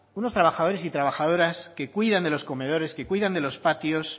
unos trabajadores y trabajadoras que cuidan de los comedores que cuidan de los patios